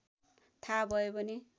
थाहा भयो भने